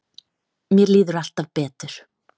Mér líður alltaf betur.